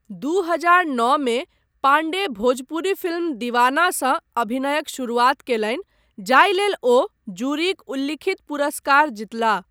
दू हजार नओमे पांडे भोजपुरी फिल्म दीवानासँ अभिनयक शुरुआत कयलनि, जाहि लेल ओ जूरीक उल्लिखित पुरस्कार जीतलाह।